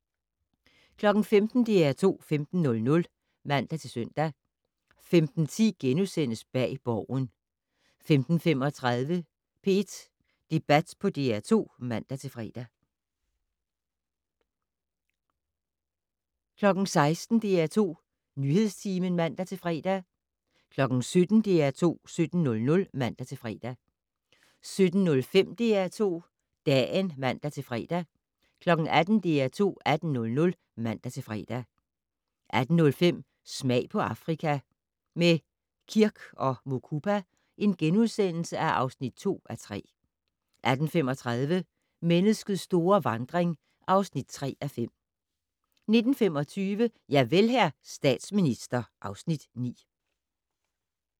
15:00: DR2 15:00 (man-søn) 15:10: Bag Borgen * 15:35: P1 Debat på DR2 (man-fre) 16:00: DR2 Nyhedstimen (man-fre) 17:00: DR2 17:00 (man-fre) 17:05: DR2 Dagen (man-fre) 18:00: DR2 18:00 (man-fre) 18:05: Smag på Afrika - med Kirk & Mukupa (2:3)* 18:35: Menneskets store vandring (3:5) 19:25: Javel, hr. statsminister (Afs. 9)